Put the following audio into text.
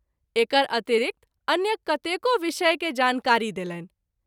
एकर अतिरिक्त अन्य कतेको विषय के जानकारी देलनि।